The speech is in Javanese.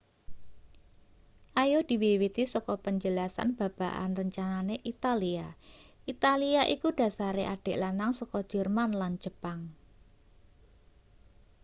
ayo diwiwiti saka penjelasan babagan rencanane italia italia iku dhasare adik lanang saka jerman lan jepang